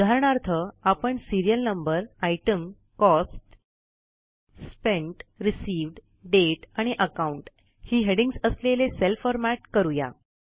उदाहरणार्थ आपण serial no ITEM cost spent received date account ही हेडिंग्ज असलेले सेल फॉरमॅट करू या